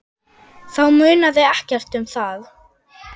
Þá munaði ekkert um það.